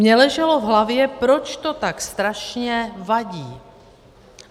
Mně leželo v hlavě, proč to tak strašně vadí.